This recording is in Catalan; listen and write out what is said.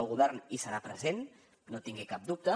el govern hi serà present no en tingui cap dubte